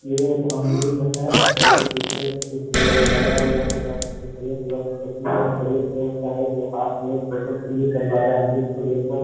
ये एक अमरूद हैऔर ये पीछे वगैरा लगा हुआ है जो हरे कलर का है जो हाथ में फोटो क्लिक करवा रहा है अमरूद को लेकर।